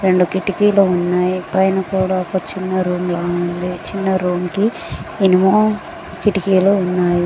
రెండు కిటికీలు ఉన్నాయి పైన కూడా ఒక చిన్న రూమ్లా ఉంది చిన్న రూమ్ కి ఇనుము కిటికీలు ఉన్నాయి.